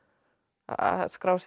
að skrásetja